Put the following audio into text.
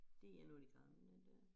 Det er noget af de gamle den dér